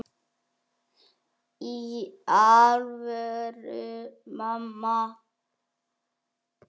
Í alvöru, mamma.